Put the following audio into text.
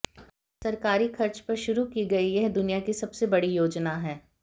सरकारी खर्च पर शुरू की गई यह दुनिया की सबसे बड़ी योजना है